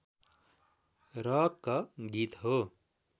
rock गीत हो